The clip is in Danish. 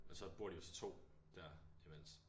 Og så bor de jo så 2 der imens